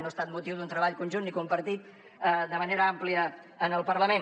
no ha estat motiu d’un treball conjunt ni compartit de manera àmplia en el parlament